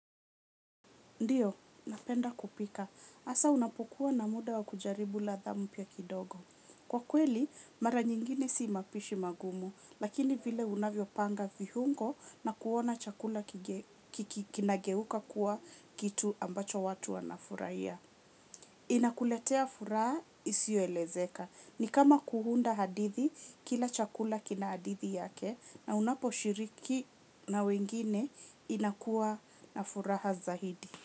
Ndiyo, napenda kupika. Asa unapokuwa na muda wa kujaribu ladha mupya kidogo. Kwa kweli, mara nyingine sii mapishi magumu, lakini vile unavyo panga vihungo na kuona chakula kinageuka kuwa kitu ambacho watu wanafuraia. Inakuletea furaha isioelezeka. Ni kama kuhunda hadithi kila chakula kina hadithi yake na unapo shiriki na wengine inakua na furaha zahidi.